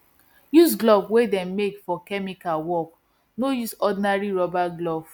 use glove wey dem make for chemical work no use ordinary rubber glove